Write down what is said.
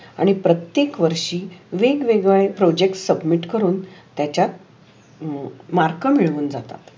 आणि प्रतेक वर्षी वेगवेगळे प्रोजेक्ट सबमीट करून त्याचात मार्क मीळुन जात.